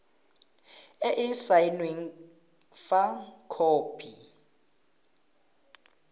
e e saenweng fa khopi